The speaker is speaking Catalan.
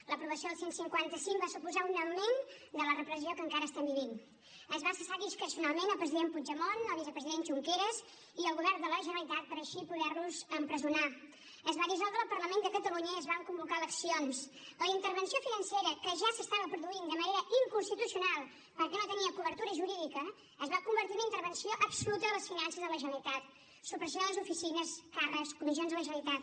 l’aprovació del cent i cinquanta cinc va suposar un augment de la repressió que encara estem vivint es va cessar discrecionalment el president puigdemont el vicepresident junqueras i el govern de la generalitat per així poder los empresonar es va dissoldre el parlament de catalunya i es van convocar eleccions la intervenció financera que ja s’estava produint de manera inconstitucional perquè no tenia cobertura jurídica es va convertir en una intervenció absoluta de les finances de la generalitat supressió de les oficines càrrecs comissions de la generalitat